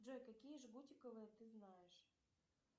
джой какие жгутиковые ты знаешь